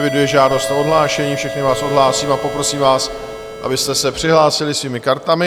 Eviduji žádost o odhlášení, všechny vás odhlásím a poprosím vás, abyste se přihlásili svými kartami.